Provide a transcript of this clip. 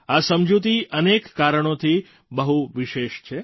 આ સમજૂતી અનેક કારણોથી બહુ વિશેષ છે